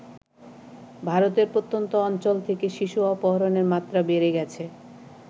ভারতের প্রত্যন্ত অঞ্চল থেকে শিশু অপহরণের মাত্রা বেড়ে গেছে ।